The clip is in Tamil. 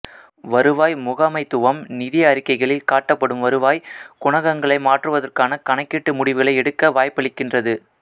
வருவாய் முகாமைத்துவம் நிதி அறிக்கைகளில் காட்டப்படும் வருவாய் குணகங்களை மாற்றுவதற்கான கணக்கீட்டு முடிவுகளை எடுக்க வாய்ப்பளிக்கின்றது